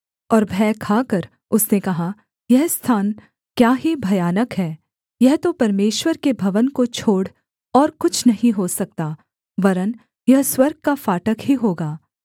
और भय खाकर उसने कहा यह स्थान क्या ही भयानक है यह तो परमेश्वर के भवन को छोड़ और कुछ नहीं हो सकता वरन् यह स्वर्ग का फाटक ही होगा